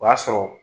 O y'a sɔrɔ